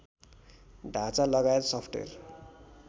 ढाँचा लगायत सफ्टवेर